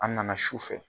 An nana su fɛ